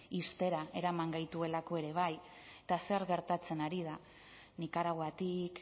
ixtera eraman gaituelako ere bai eta zer gertatzen ari da nikaraguatik